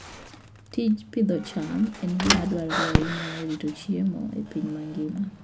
Tij pidho cham en gima dwarore ahinya e rito chiemo e piny mangima.